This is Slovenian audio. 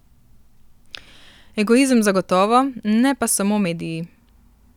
Egoizem zagotovo, ne pa samo mediji.